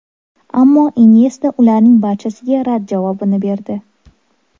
Ammo Inyesta ularning barchasiga rad javobini berdi.